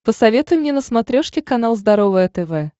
посоветуй мне на смотрешке канал здоровое тв